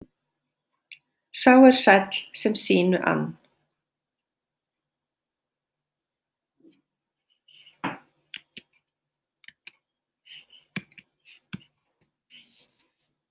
Sá er sæll sem sínu ann.